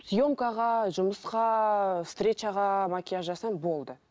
съемкаға жұмысқа встречаға макияж жасаймын болды